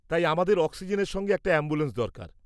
তাই আমাদের অক্সিজেনের সঙ্গে একটা অ্যাম্বুলেন্স দরকার।